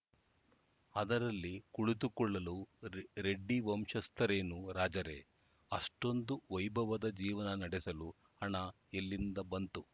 ಅದರಲ್ಲಿ ಕುಳಿತುಕೊಳ್ಳಲು ರೆಡ್ಡಿ ವಂಶಸ್ಥರೇನು ರಾಜರೇ ಅಷ್ಟೊಂದು ವೈಭವದ ಜೀವನ ನಡೆಸಲು ಹಣ ಎಲ್ಲಿಂದ ಬಂತು